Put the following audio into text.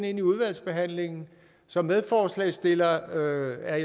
ind i udvalgsbehandlingen som medforslagsstiller er